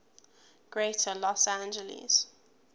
greater los angeles